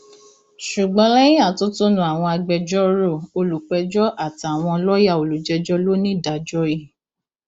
ṣùgbọn lẹyìn atótónu àwọn agbẹjọrò olùpẹjọ àtàwọn lọọyà olùjẹjọ lonídàájọ i